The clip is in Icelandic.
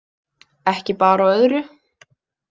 Ekki bar á öðru.